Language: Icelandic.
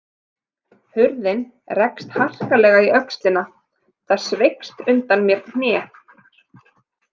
Hurðin rekst harkalega í öxlina, það sveigist undan mér hné.